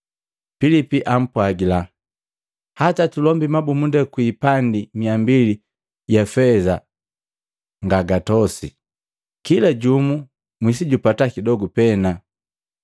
Pilipi apwagila, “Hata tulombi mabumunda kwi ipandi mia mbili ja feza ngagatosi, kila jumu mwisijupata kidogu pena.”